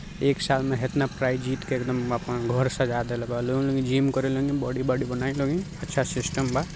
एक साल मे इतना प्राइज़ जीत के एकदम आपन घर सजा देले बालन जिम करी लोगिन बॉडी बडी बनाई लोगिन अच्छा सिस्टम बा।